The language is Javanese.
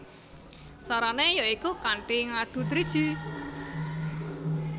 Carané ya iku kanthi ngadu driji